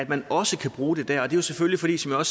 man også kan bruge det der og det er selvfølgelig fordi som jeg